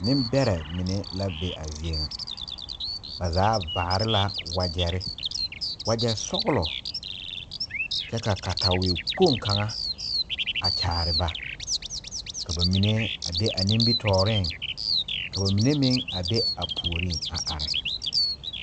Nimberɛ mene la be a zeɛ nga ba zaa vaare la wujeri wuje sɔglo kye ka katawei kpong kanga a kyaare ba ka ba mene a be a nimitoɔring ka ba mene meng a be a pouring a arẽ.